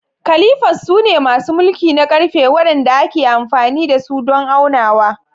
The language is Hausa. Calipers sune masu mulki na ƙarfe waɗanda ake amfani da su don aunawa.